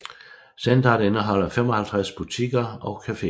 Centeret indeholder 55 butikker og cafeer